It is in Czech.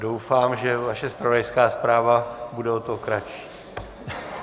Doufám, že vaše zpravodajská zpráva bude o to kratší.